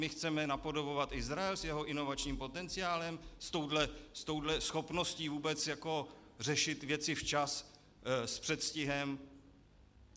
My chceme napodobovat Izrael s jeho inovačním potenciálem, s touto schopností vůbec jako řešit věci včas s předstihem?